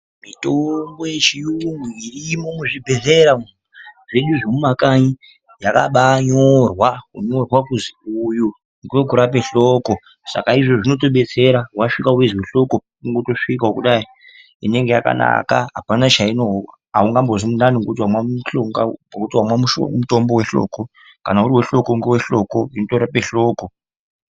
Mitombo yechiyungu irimwo muzvibhehlera umwu zvedu zvemumakanyi yakabaanyorwa ,kunyorwa kuzi uyu ngevekurape hloko saka izvozvo zvinotodetsera vasvika veizwe hloko kungotosvika kudai inenge yakanaka. Aungazwi mundani ngekuti vamwa mutombo vehloko. Kana uri wehloko ngevehloko unotorape hloko.